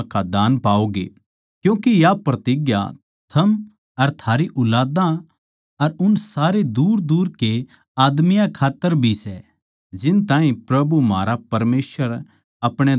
क्यूँके या प्रतिज्ञा थम अर थारी ऊलादां अर उन सारे दूरदूर के आदमियाँ खात्तर भी सै जिन ताहीं प्रभु म्हारा परमेसवर अपणे धोरै बुलावैगा